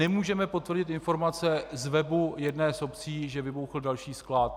Nemůžeme potvrdit informace z webu jedné z obcí, že vybuchl další sklad.